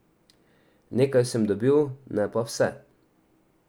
Nekaj sem dobil, ne pa vse.